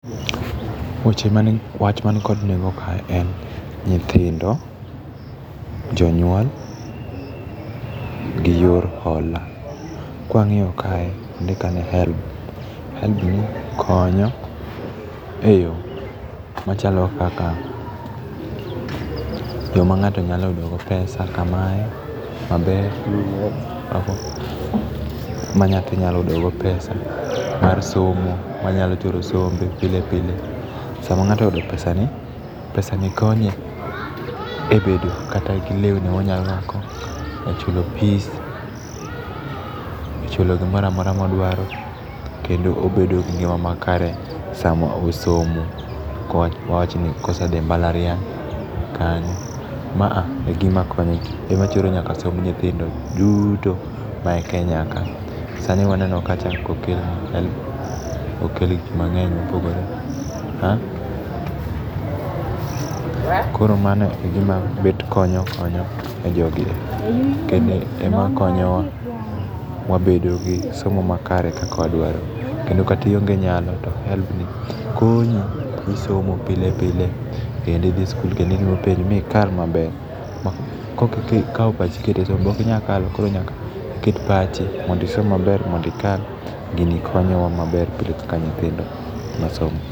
Weche man wach man kod nengo kae en nyithindo, jonyuol gi yor hola. Kwa ng'iyo kae ondik ka ni helb. Helbni konyo eyoo machalo kaka, yoo ma ng'ato nyalo yudo go pesa kamae maber ma nyathi nyalo yudo go pesa mar somo, manyalo choro sombe pile pile. Sama ng'ato oyudo pesani, pesani konye e bedo kata gi lewni monyalo brwako e chulo fee, echulo gimora amora modwaro kendo obedo gi ngima makre sama osomo awachni kose dhii e mbalariany kanyo. Ma e ginma konyo ema choro nyaka somb nyithindo duto ma e Kenya kaa. Sani waneno kacha kokel gik mang'eny mopogore koro mano egima bet konyo konyo jogi ema konyowa wabedo gi somo makare kaka wadwaro. Kendo kata ionge nyalo to hellbni konyi gi somo pile pile kendo idhi skul kendo itimo penj mikal maber. Ka ikawo pachi iketo be okj inyal kalo koro nyaka ikaw pachi mondonisom maber mondo ikal. Gini konyowa maber kaka nyithindo masomo.